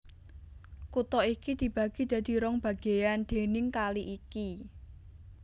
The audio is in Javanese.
Kutha iki dibagi dadi rong bagéyan déning kali iki